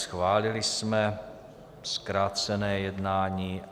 Schválili jsme zkrácené jednání.